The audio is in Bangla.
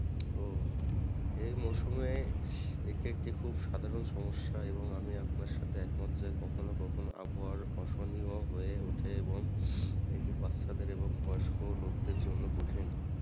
ও এই মরশুমে এটি একটি খুব সাধারণ সমস্যা এবং আমি আপনার সাথে একমাত্র কখনো কখনো আবহাওয়ার হয়ে উঠি এবং এটি বাচ্চাদের এবং বয়স্ক লোকদের জন্য কঠিন।